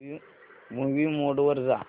movie mode वर जा